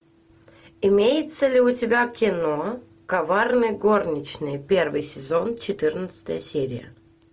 имеется ли у тебя кино коварные горничные первый сезон четырнадцатая серия